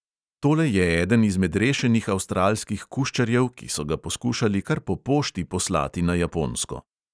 Tole je eden izmed rešenih avstralskih kuščarjev, ki so ga poskušali kar po pošti poslati na japonsko.